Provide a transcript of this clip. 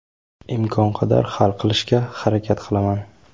imkon qadar hal qilishga harakat qilaman.